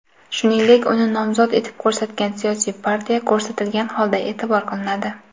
shuningdek uni nomzod etib ko‘rsatgan siyosiy partiya ko‘rsatilgan holda eʼlon qilinadi.